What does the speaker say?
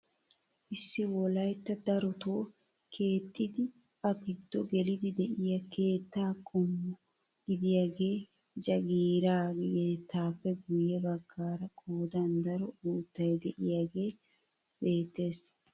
Issi wolaytta darotoo keexxidi a giddo gelidi de'iyoo keettaa qommo gidiyaagee jagiira keettappe guye baggaara qoodan daro uuttay de'iyaagee beettees.